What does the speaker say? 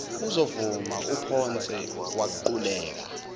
uzovuma uphonse waquleka